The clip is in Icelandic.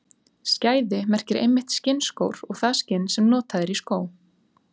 Skæði merkir einmitt skinnskór og það skinn sem notað er í skó.